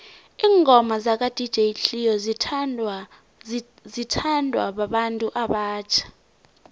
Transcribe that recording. ingoma zaka dj cleo zithanwa babantu abatjha